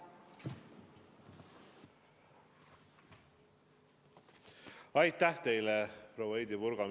Aitäh teile, proua Heidy Purga!